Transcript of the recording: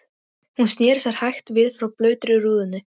Hún sneri sér hægt við frá blautri rúðunni.